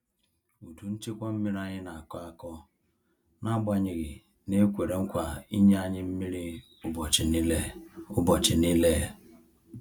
Udu nchekwa mmiri anyị na-akọ akọ n'agbanyeghị na e kwere nkwa inye anyi mmiri ubọchi nile. ubọchi nile.